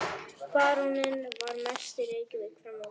Baróninn var mest í Reykjavík fram á vor.